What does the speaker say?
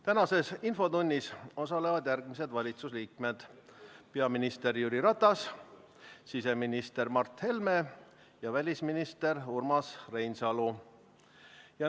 Tänases infotunnis osalevad järgmised valitsusliikmed: peaminister Jüri Ratas, siseminister Mart Helme ja välisminister Urmas Reinsalu.